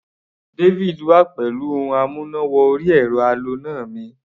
David wá pẹ̀lú ohun amúná-wọ-orí-ẹ̀rọ aloná mi